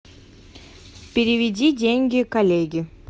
переведи деньги коллеге